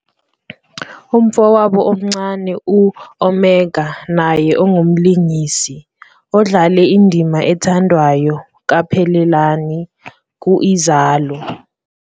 Umfowabo omncane u-Omega naye ongumlingisi, odlale indima ethandwayo ka "Phelelani" ku-"I-Uzalo".